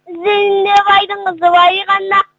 іздейді ме байдың қызы бай ғана